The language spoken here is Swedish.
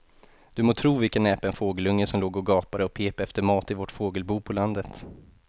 Du må tro vilken näpen fågelunge som låg och gapade och pep efter mat i vårt fågelbo på landet.